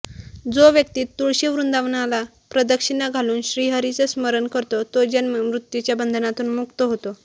जो व्यक्ती तुळशी वृंदावनाला प्रदक्षिणा घालून श्रीहरीचं स्मरण करतो तो जन्म मृत्यूच्या बंधनातून मुक्त होतो